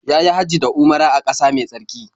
Ya yi Hajji da Umara a ƙasa mai tsarki.